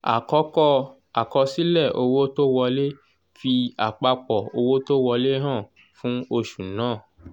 àkọ́kọ́ àkọsílẹ̀ owó tó wolẹ́ fi àpapọ̀ owó tó wọlé hàn fún oṣù náà.